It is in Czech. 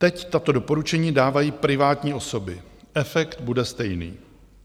Teď tato doporučení dávají privátní osoby, efekt bude stejný.